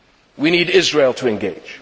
We need Israel to engage.